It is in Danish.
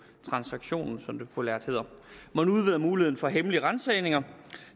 transaktion som det populært hedder man udvider muligheden for hemmelige ransagninger